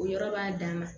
O yɔrɔ b'a dan ma